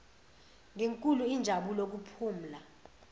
ngenkulu injabulo kuphumla